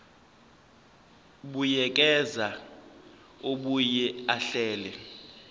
buyekeza abuye ahlele